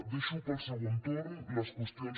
deixo per al segon torn les qüestions